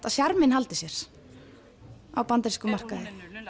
að sjarminn haldi sér á bandarískum markaði